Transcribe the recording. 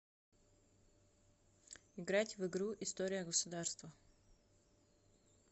играть в игру история государства